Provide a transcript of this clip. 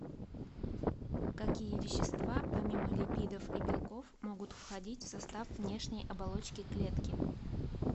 какие вещества помимо липидов и белков могут входить в состав внешней оболочки клетки